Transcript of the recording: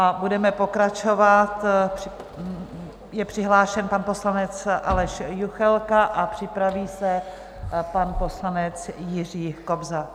A budeme pokračovat, je přihlášen pan poslanec Aleš Juchelka a připraví se pan poslanec Jiří Kobza.